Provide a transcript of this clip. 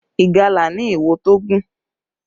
Ìgalà ni ìwo tó gùn